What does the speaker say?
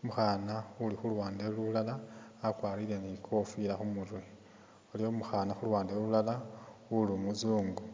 umukhana uli khuluwande lulala akwarire ni kofila khu murwe, waliwo umukhana khuluwande lulala uli umuzungu